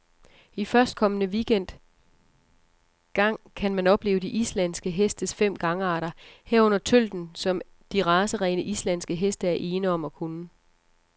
I førstkommende weekend gang kan man opleve de islandske hestes fem gangarter, herunder tølten, som de racerene, islandske heste er ene om at kunne.